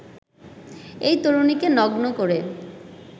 এক তরুণীকে নগ্ন করে